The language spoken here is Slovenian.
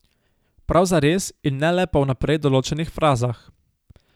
Prav zares in ne le po vnaprej določenih frazah.